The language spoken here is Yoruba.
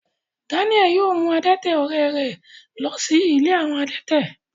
Dáníẹ́lì yóò mú adẹ́tẹ̀ ọ̀rẹ́ rẹ̀ lọ sí ilé àwọn adẹ́tẹ̀